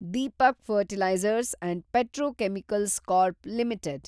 Deepak fertilisers and petrochemicals corp limited